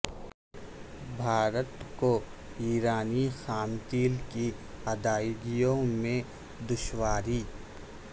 بھارت کو ایرانی خام تیل کی ادائیگیوں میں دشواری